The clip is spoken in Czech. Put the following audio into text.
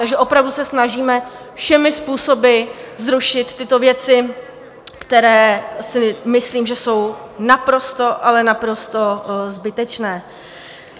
Takže opravdu se snažíme všemi způsoby zrušit tyto věci, které si myslím, že jsou naprosto, ale naprosto zbytečné.